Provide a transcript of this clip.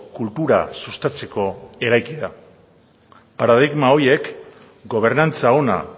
kultura sustatzeko eraiki da paradigma horiek gobernantza ona